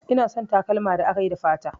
Ina son takalma da akayi da fata